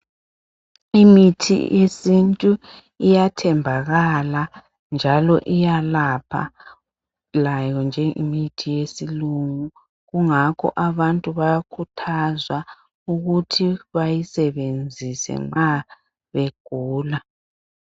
Imithi yesintu iyathembakala njalo iyalapha layo njengemithi yesilungu kungakho abantu bakhuthazwa ukuthi beyisebenzise nxa begula